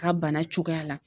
A bana cogoya la